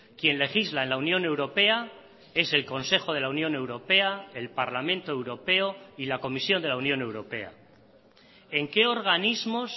quien legisla en la unión europea es el consejo de la unión europea el parlamento europeo y la comisión de la unión europea en qué organismos